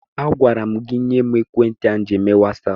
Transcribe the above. Agwara m gị nye m ekwentị ahụ ịji eme wasaapụ!